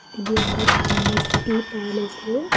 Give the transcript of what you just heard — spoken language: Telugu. ఇది ఒక ప్యాలెస్ ఈ ప్యాలెస్ లో.